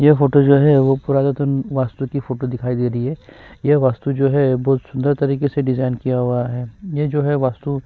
ये फोटो जो है वो पूरा कथून वास्तु की फोटो दिखाई दे रही है ये वास्तु जो है बोहोत सुंदर तरीके से डिज़ाइन किया हुआ है ये जो है वास्तु --